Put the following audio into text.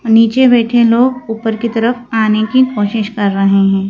नीचे बैठे लोग ऊपर की तरफ आने की कोशिश कर रहे हैं।